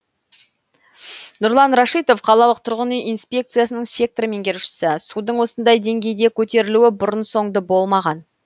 нұрлан рашитов қалалық тұрғын үй инспекциясының сектор меңгерушісі судың осындай деңгейде көтерілуі бұрын соңды болмаған